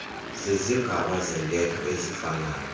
zizigaba zentetho eziifanayo